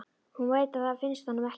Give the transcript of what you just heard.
Hún veit að það finnst honum ekki.